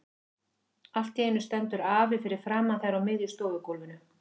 Allt í einu stendur afi fyrir framan þær á miðju stofugólfinu.